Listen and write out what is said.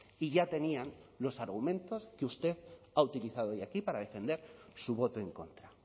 y ya tenían los argumentos que usted ha utilizado hoy aquí para defender su voto en contra